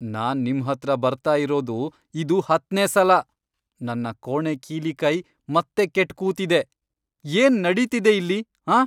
ನಾನ್ ನಿಮ್ಹತ್ರ ಬರ್ತಾ ಇರೋದು ಇದು ಹತ್ನೇ ಸಲ. ನನ್ನ ಕೋಣೆ ಕೀಲಿ ಕೈ ಮತ್ತೆ ಕೆಟ್ ಕೂತಿದೆ. ಏನ್ ನಡೀತಿದೆ ಇಲ್ಲಿ, ಆಂ?